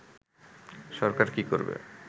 সরকার কী করবে